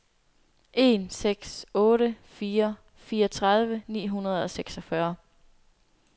en seks otte fire fireogtredive ni hundrede og seksogfyrre